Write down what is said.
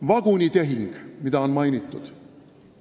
Vagunitehing, mida on mainitud.